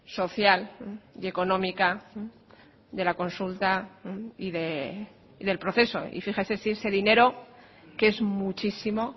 social y económica de la consulta y del proceso y fíjese si ese dinero que es muchísimo